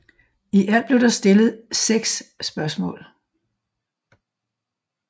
I alt blev der stillet seks spørgsmål